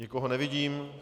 Nikoho nevidím.